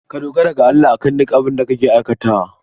Ka dogara ga Allah a kan duk abin da kake aikatawa.